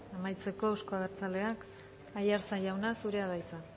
amaitzeko euzko abertzaleak aiartza jauna zurea da hitza